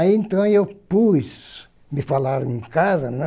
Aí então eu pus, me falaram em casa, né?